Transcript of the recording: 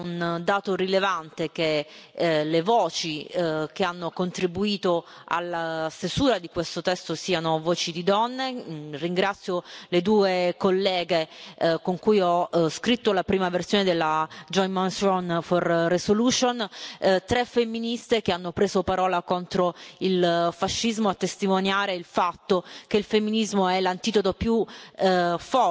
Credo che sia un dato rilevante che le voci che hanno contribuito alla stesura di questo testo siano voci di donne. Ringrazio le due colleghe con cui ho scritto la prima versione della proposta di risoluzione comune, tre femministe che hanno preso la parola contro il fascismo, a testimoniare il fatto che il femminismo è l'antidoto più